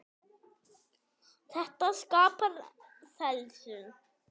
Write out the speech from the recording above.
Þetta skapar þenslu.